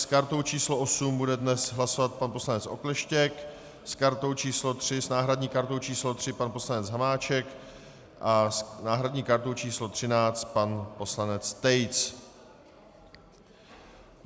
S kartou číslo 8 bude dnes hlasovat pan poslanec Okleštěk, s náhradní kartou číslo 3 pan poslanec Hamáček a s náhradní kartou číslo 13 pan poslanec Tejc.